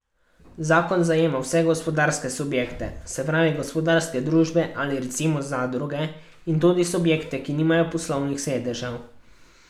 Zakon zajema vse gospodarske subjekte, se pravi gospodarske družbe, ali recimo zadruge, in tudi subjekte, ki nimajo poslovnih sedežev.